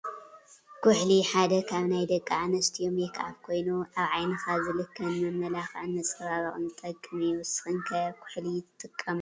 ኩሕሊ ሓደ ካብ ናይ ደቂ ኣንስትዮ ሜክኣብ ኮይኑ ኣብ ዓይኒካ ዝልከ ንመመላክዕን መፀባበቅን ዝጠቅም እዩ። ንስክን ከ ኩሕሊ ትጥቀማ ዶ ?